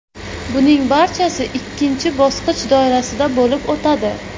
Buning barchasi ikkinchi bosqich doirasida bo‘lib o‘tadi.